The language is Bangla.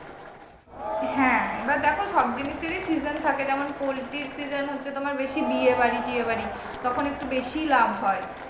হ্যাঁ এবার দেখো সব জিনিসেরই season থাকে যেমন poultry season হচ্ছে তোমার বেশি বিয়েবাড়ি টিয়েবাড়ি তখন একটু বেশিই লাভ হয়।